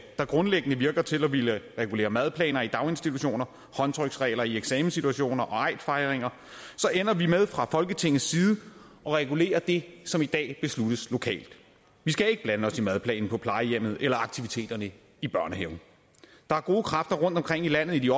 der grundlæggende virker til at ville regulere madplaner i daginstitutioner håndtryksregler i eksamenssituationer og eidfejringer ender vi med fra folketingets side at regulere det som i dag besluttes lokalt vi skal ikke blande os i madplanen på plejehjemmet eller aktiviteterne i børnehaven der er gode kræfter rundtomkring i landet i de